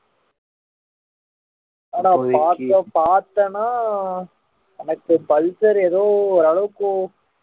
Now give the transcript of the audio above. ஆனா பாத்தா பாத்தேன்னா எனக்கு பல்சர் எதோ ஓரளவுக்கு okay